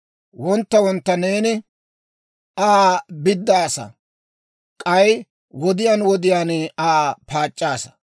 Wontta wontta neeni Aa biddaassaa; k'ay wodiyaan wodiyaan Aa paac'c'aasa.